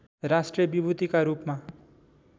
राष्ट्रिय विभूतिका रूपमा